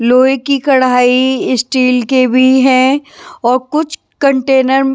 लोहे की कढ़ाई स्टील के भी हैं और कुछ कंटेनर --